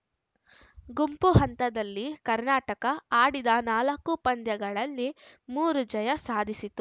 ಗುಂಪು ಹಂತದಲ್ಲಿ ಕರ್ನಾಟಕ ಆಡಿದ ನಾಲ್ಕು ಪಂದ್ಯಗಳಲ್ಲಿ ಮೂರು ಜಯ ಸಾಧಿಸಿತು